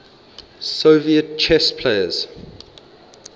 soviet chess players